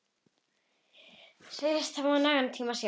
Segist hafa nægan tíma sjálf.